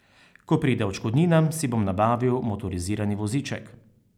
Ko pride odškodnina, si bom nabavil motorizirani voziček.